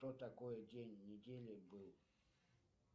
кто такой день недели был